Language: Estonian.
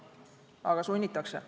Aga sunnitakse.